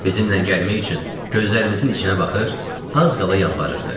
Bizimlə gəlmək üçün gözlərimizin içinə baxır, az qala yalvarırdı.